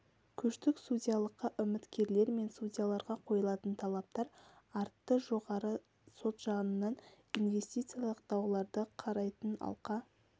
көштік судьялыққа үміткерлер мен судьяларға қойылатын талаптар артты жоғарғы сот жанынан инвестициялық дауларды қарайтын алқа